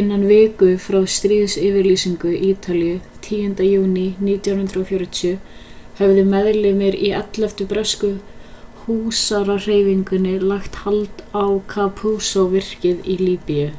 innan viku frá stríðsyfirlýsingu ítalíu 10. júní 1940 höfðu meðlimir í 11. bresku húsarahreyfingunni lagt hald á capuzzo-virkið í líbíu